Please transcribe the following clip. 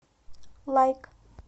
лайк